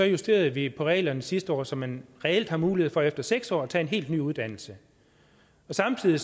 justerede vi reglerne sidste år så man reelt har mulighed for efter seks år at tage en helt ny uddannelse samtidig